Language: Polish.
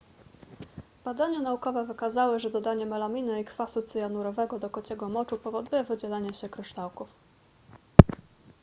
badania naukowe wykazały że dodanie melaminy i kwasu cyjanurowego do kociego moczu powoduje wydzielenie się kryształków